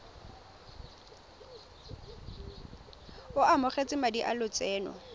o amogetse madi a lotseno